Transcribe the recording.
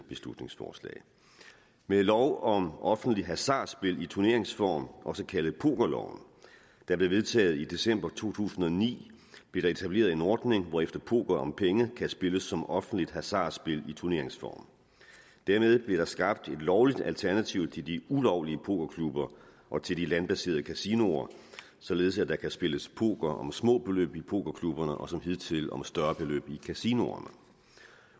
beslutningsforslag med lov om offentlig hasardspil i turneringsform også kaldet pokerloven der blev vedtaget i december to tusind og ni blev der etableret en ordning hvorefter poker om penge kan spilles som offentligt hasardspil i turneringsform dermed blev der skabt et lovligt alternativ til de ulovlige pokerklubber og til de landbaserede kasinoer således at der kan spilles poker om små beløb i pokerklubberne og som hidtil og om større beløb i kasinoerne